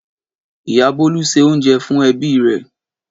Ìyá Bólú se oúnjẹ fún ẹbí rẹ̀.